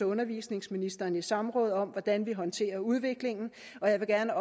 undervisningsministeren i samråd om hvordan vi håndterer udviklingen og jeg vil gerne